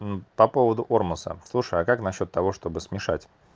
ну по поводу ормаса слушай а как насчёт того чтобы смешать